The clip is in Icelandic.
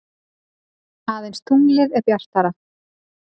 Aðeins tunglið er bjartara.